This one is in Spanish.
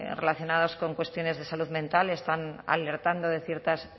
relacionados con cuestiones de salud mental están alertando de ciertas